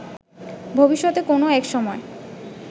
ভবিষ্যতে কোনো একসময়